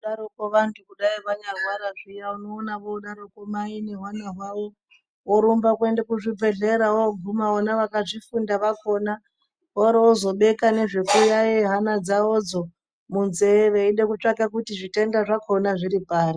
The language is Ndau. ..daroko vantu kudai vanyarwara zviya unoona voodaroko mai nehwana hwavo vorumba kuenda kuzvibhedhlera. Vooguma vona vakazvifunda vakona voorozobeka nezvekuyaeya hana dzavodzo munzee veida kutsvaka kuti zvitenda zvakona zviri pari.